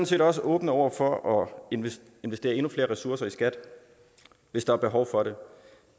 set også åbne over for at investere investere endnu flere ressourcer i skat hvis der er behov for det